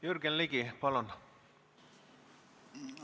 Jürgen Ligi, palun!